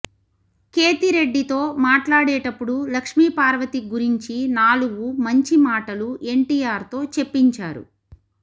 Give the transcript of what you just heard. కేతిరెడ్డి తో మాట్లాడేటపుడు లక్ష్మీపార్వతి గురించి నాలుగు మంచి మాటలు ఎన్టీఆర్ తో చెప్పించారు